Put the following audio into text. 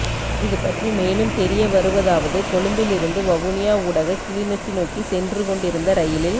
இது பற்றி மேலும் தெரிய வருவதாவது கொழும்பிலிருந்து வவுனியா ஊடாக கிளிநொச்சி நோக்கி சென்று கொண்டிருந்த ரயிலில்